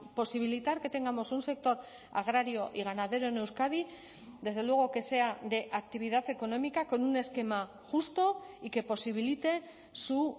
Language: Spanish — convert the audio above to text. posibilitar que tengamos un sector agrario y ganadero en euskadi desde luego que sea de actividad económica con un esquema justo y que posibilite su